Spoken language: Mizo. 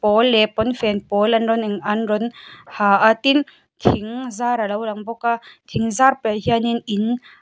pawl leh pawnfen pawl a rawn in an rawn ha a tin thing zar a lo lang bawk a thing zar paihah hian in.